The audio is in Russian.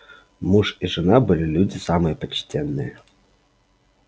муж и жена были люди самые почтенные